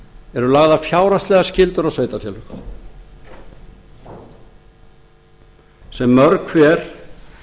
eru lagðar fjárhagslegar skyldur á sveitarfélögin sem mörg hver